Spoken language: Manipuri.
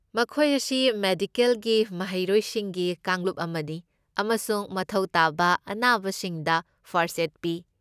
ꯃꯈꯣꯏ ꯑꯁꯤ ꯃꯦꯗꯤꯀꯦꯜꯒꯤ ꯃꯍꯩꯔꯣꯏꯁꯤꯡꯒꯤ ꯀꯥꯡꯂꯨꯞ ꯑꯃꯅꯤ ꯑꯃꯁꯨꯡ ꯃꯊꯧ ꯇꯥꯕ ꯑꯅꯥꯕꯁꯤꯡꯗ ꯐꯥꯔꯁꯠ ꯑꯦꯗ ꯄꯤ꯫